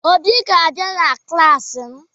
Obi ga-abịa na klaasị m